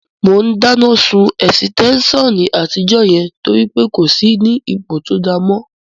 Mò ún dáná sun ẹ̀sítẹ́nsàn àtijọ́ yẹn torí pé kò sí ní ipò tó dáa mọ́